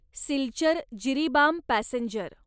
Silchar Jiribam passenger